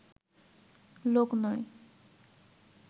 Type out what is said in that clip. লোক নয়